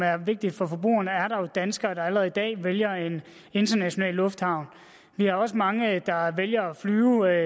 er vigtige for forbrugerne er der jo danskere der allerede i dag vælger en international lufthavn vi har også mange der vælger at flyve